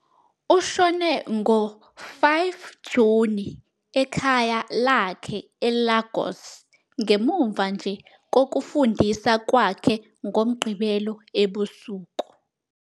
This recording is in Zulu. Ushone ngo-5 Juni ekhaya lakhe eLagos ngemuva nje kokufundisa kwakhe ngoMgqibelo ebusuku.